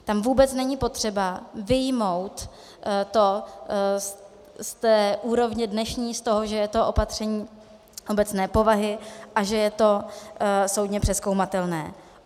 Tam vůbec není potřeba vyjmout to z té úrovně dnešní, z toho, že je to opatření obecné povahy a že je to soudně přezkoumatelné.